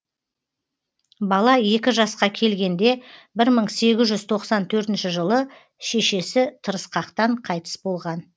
бала екі жасқа келгенде бір мың сегіз жүз тоқсан төртінші жылы шешесі тырысқақтан қайтыс болған